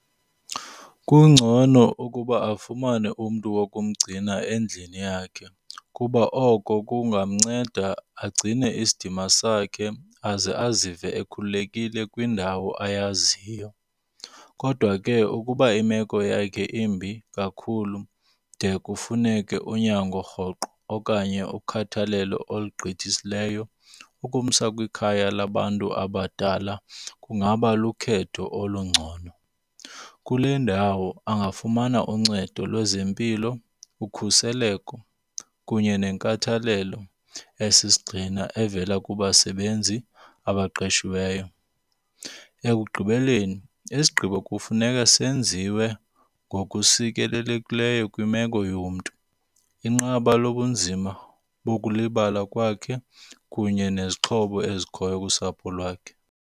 Kungcono ukuba afumane umntu wokumgcina endlini yakhe kuba oko kungamnceda agcine isidima sakhe aze azive ekhululekile kwindawo ayaziyo. Kodwa ke ukuba imeko yakhe imbi kakhulu de kufuneke unyango rhoqo okanye ukhathalelo olugqithisileyo, ukumsa kwikhaya labantu abadala kungaba lukhetho olungcono. Kule ndawo angafumana uncedo lwezempilo, ukhuseleko kunye nenkathalelo esisigxina evela kubasebenzi abaqeshiweyo. Ekugqibeleni, isigqibo kufuneka senziwe ngokusikelelekileyo kwimeko yomntu, inqanaba lobunzima bokulibala kwakhe kunye nezixhobo ezikhoyo kusapho lwakhe.